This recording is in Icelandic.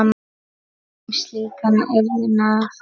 um slíkan iðnað.